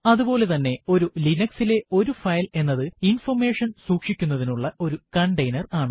അതുപോലെ തന്നെ ഒരു ലിനക്സ് ലെ ഒരു ഫയൽ എന്നത് ഇൻഫർമേഷൻ സൂക്ഷിക്കുന്നതിനുള്ള ഒരു കണ്ടെയ്നർ ആണ്